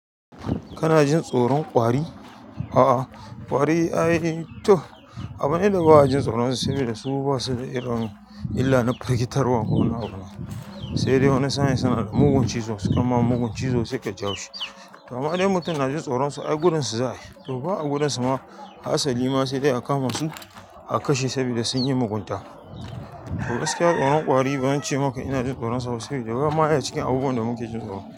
Kana jin tsoron ƙwari? A'a ƙwari ai toh abu ne da ba'a jin tsoron su saboda su ba su da irin illar na firgitarwa ko na wani abu. Sai dai wani sa'in suna da mugun cizo suka ma mugun cizo sai ka ji haushi. To amma dai in mutum na jin tsoron su ai gudun su za ayi, to ba a gudun suma hatsali ma sai dai a kama su a kashe sabida sun yi mugunta. To gaskiya tsoron ƙwari ba zan ce maka ina jin tsoron su ba sabida bama ya cikin abubuwan da muke jin tsoro.